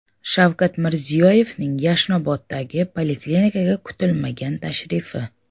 Shavkat Mirziyoyevning Yashnoboddagi poliklinikaga kutilmagan tashrifi.